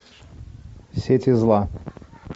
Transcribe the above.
сети зла